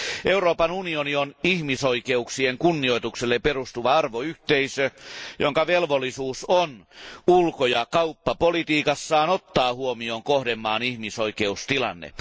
Euroopan unioni on ihmisoikeuksien kunnioitukselle perustuva arvoyhteisö, jonka velvollisuus on ulko ja kauppapolitiikassaan ottaa huomioon kohdemaan ihmisoikeustilanne.